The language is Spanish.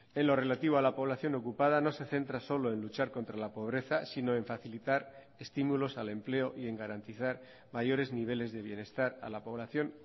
en lo relativo a la población ocupada no se centra solo en luchar contra la pobreza sino en facilitar estímulos al empleo y en garantizar mayores niveles de bienestar a la población